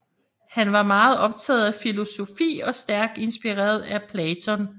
Han var meget optaget af filosofi og stærkt inspireret af Platon